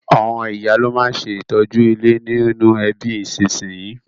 Àwon ìyá lo ma n se ìtọ́jú ilé nínú ẹbí ìsínsinyì